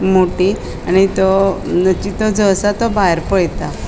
मोटी आणि तो असा तो भायर पळेता.